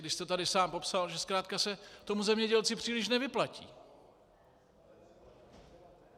Vy jste tady sám popsal, že zkrátka se tomu zemědělci příliš nevyplatí.